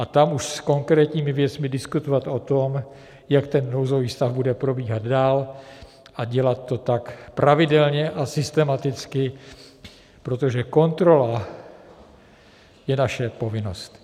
A tam už s konkrétními věcmi diskutovat o tom, jak ten nouzový stav bude probíhat dál, a dělat to tak pravidelně a systematicky, protože kontrola je naše povinnost.